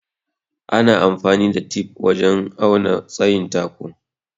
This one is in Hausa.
Ana amfani da tif wajen auna tsayin katako.